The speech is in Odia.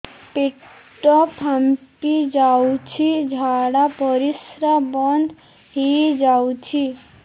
ପେଟ ଫାମ୍ପି ଯାଉଛି ଝାଡା ପରିଶ୍ରା ବନ୍ଦ ହେଇ ଯାଉଛି